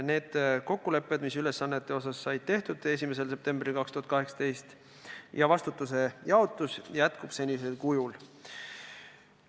Need kokkulepped, mis ülesannete kohta 1. septembril 2018. aastal said tehtud, ja vastutuse jaotus jäävad püsima senisel kujul.